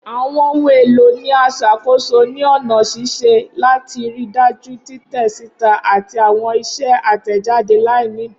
Awọn ohun elo ni a ṣakoso ni ọna ṣiṣe lati rii daju titẹ sita ati awọn iṣẹ atẹjade lainidi.